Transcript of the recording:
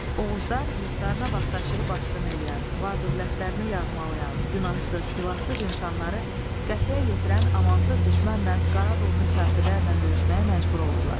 Oğuzlar yurtlarına vaxtaşırı basqını eləyən, var-dövlətlərini yağmalayan, günahsız, silahsız insanları qətlə yetirən amansız düşmənlə, Qara donlu kafirlərlə döyüşməyə məcbur olurlar.